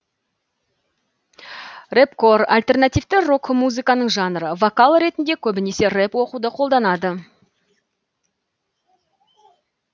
рэпкор альтернативті рок музыканың жанры вокал ретінде көбінесе рэп оқуды қолданады